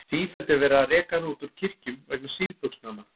Sífellt er verið að reka hana út úr kirkjum vegna síðbuxnanna.